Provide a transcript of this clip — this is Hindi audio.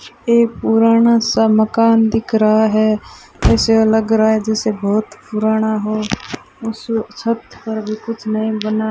एक पुराना सा मकान दिख रहा है ऐसे लग रहा है जैसे बहुत पुराना हो उस छत पर भी कुछ नहीं बना --